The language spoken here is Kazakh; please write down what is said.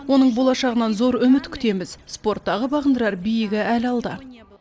оның болашағынан зор үміт күтеміз спорттағы бағындырар биігі әлі алда